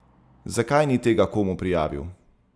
Zakaj ni tega komu prijavil?